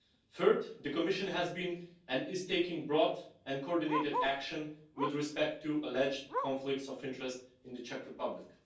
Third, the Commission has been and is taking broad and coordinated action with respect to alleged conflicts of interest in the Czech Republic.